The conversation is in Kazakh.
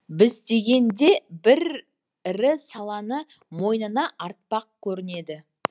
біздегіден де бір ірі саланы мойнына артпақ көрінеді